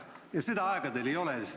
Ja seda aega teil ei ole.